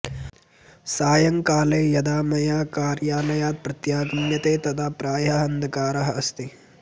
सायंकाले यदा मया कार्यालयात् प्रत्यागम्यते तदा प्रायः अंधकारः अस्ति